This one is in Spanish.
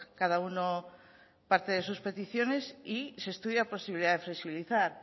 cada uno parte de sus peticiones y se estudia posibilidad de flexibilizar